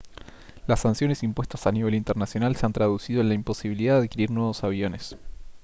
las sanciones impuestas a nivel internacional se han traducido en la imposibilidad de adquirir nuevos aviones